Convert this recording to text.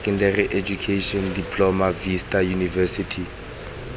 secondary education diploma vista university